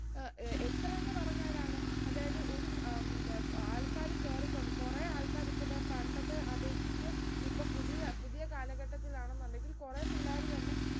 ആഹ് ഏർ എത്രാന്ന് പറഞ്ഞാലാണ് അതായത് ഒരു ഏർ ഉം ആൾക്കാര് കേറിക്കോണം കൊറേ ആൾക്കാർ ഇപ്പൊ ഇതാ പണ്ടത്തെ അപേക്ഷിച്ച് ഇപ്പൊ പുതിയ പുതിയ കാലഘട്ടത്തിലാണെന്നുണ്ടെങ്കിൽ കുറേ പിള്ളേർ തന്നെ